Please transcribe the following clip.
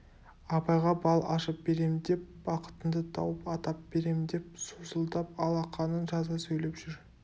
абайға бал ашып берем деп бақытыңды тауып атап берем деп сусылдап алақанын жаза сөйлеп жүр